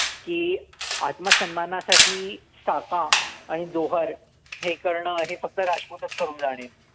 की आत्मा सन्मानासाठी साका आणि जौहर हे करणं हे फक्त राजपूतचं करू जाणे.